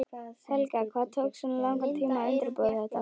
Helga: Hvað tók svona langan tíma að undirbúa þetta?